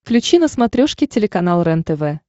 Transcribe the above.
включи на смотрешке телеканал рентв